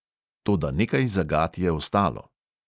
Toda nekaj zagat je ostalo.